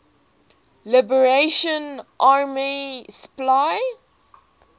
liberation army spla